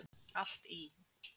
Allt í